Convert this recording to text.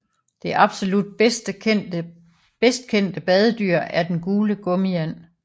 Det absolut bedst kendte badedyr er den gule gummiand